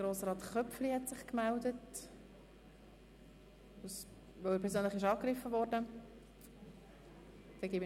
Grossrat Köpfli hat sich noch gemeldet, weil er persönlich angegriffen worden ist.